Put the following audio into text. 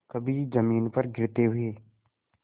कभी जमीन पर गिरते हुए